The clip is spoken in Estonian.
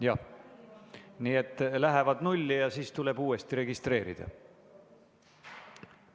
Jah, nii et lähevad nulli ja siis tuleb uuesti registreerida.